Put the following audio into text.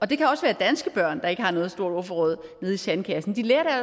det kan også være danske børn der ikke har noget stort ordforråd nede i sandkassen de lærer